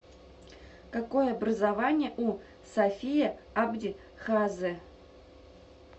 какое образование у сафия абди хаазе